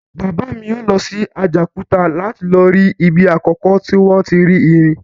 Bàbá mi yóò lọ sí Àjàòkúta láti lọ rí ibi àkọ́kọ́ tí wọ́n ti rí irin